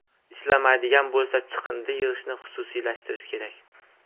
Ishlamaydigan bo‘lsa, chiqindi yig‘ishni xususiylashtirish kerak.